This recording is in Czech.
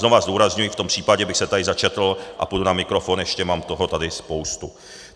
Znova zdůrazňuji, v tom případě bych se tady začetl a půjdu na mikrofon ještě, mám toho tady spoustu.